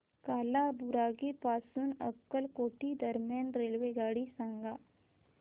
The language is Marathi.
कालाबुरागी पासून अक्कलकोट दरम्यान रेल्वेगाडी सांगा